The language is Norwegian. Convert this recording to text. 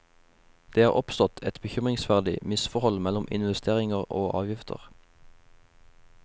Det er oppstått et bekymringsverdig misforhold mellom investeringer og avgifter.